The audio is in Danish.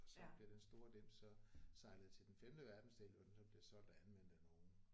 Og så bliver den store dims så sejlet til den femte verdensdel hvor den så bliver solgt og anvendt af nogen